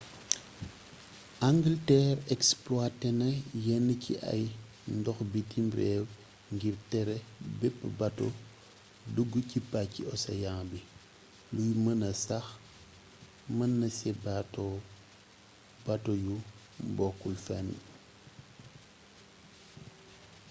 angalteer exploité na yenn ci ay ndox bitim réew ngir tere bépp bato dugg ci pàcci océan bi luy mëna sax mënaasé bato yu bokkul fenn